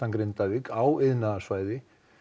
Grindavík á iðnaðarsvæði